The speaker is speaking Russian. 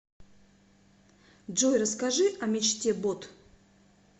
джой расскажи о мечте бот